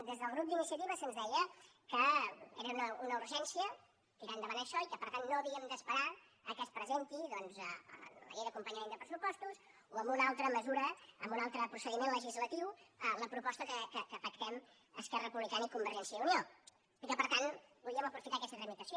des del grup d’iniciativa se’ns deia que era una urgència tirar endavant això i que per tant no havíem d’esperar que es presentés doncs en la llei d’acompanyament de pressupostos o amb una altra mesura amb un altre procediment legislatiu la proposta que pactem esquerra republicana i convergència i unió i que per tant podíem aprofitar aquesta tramitació